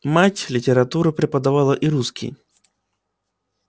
мать литературу преподавала и русский